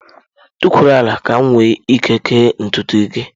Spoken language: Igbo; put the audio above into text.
Tukwuru ala! Ka m wee ike kee ntutu gị.